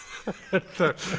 er